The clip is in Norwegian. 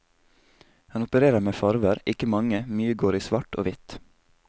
Han opererer med farver, ikke mange, mye går i svart og hvitt.